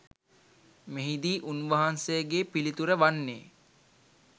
මෙහිදී උන්වහන්සේගේ පිළිතුර වන්නේ